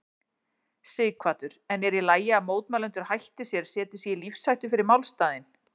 Sighvatur: En er í lagi að mótmælendur hætti sér, setji sig í lífshættu fyrir málstaðinn?